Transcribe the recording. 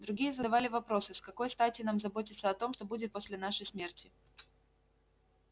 другие задавали вопросы с какой стати нам заботиться о том что будет после нашей смерти